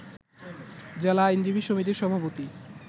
জেলা আইনজীবী সমিতির সভাপতি